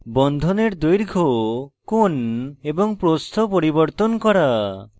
বন্ধনের দৈর্ঘ্য কোণ এবং প্রস্থ পরিবর্তন করা